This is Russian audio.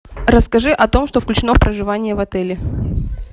расскажи о том что включено в проживание в отеле